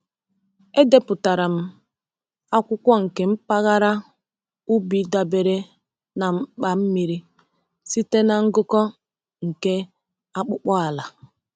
Edepụtara m akwụkwọ nke mpaghara ubi dabere na mkpa mmiri site na ngụkọ nke akpụkpọ ala.